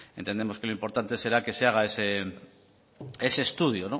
pues entendemos que lo importante será que se haga ese estudio